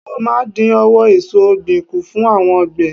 Wọ́́n máa dín owó èsò ọ̀gbìn kù fún àwọn àgbẹ̀.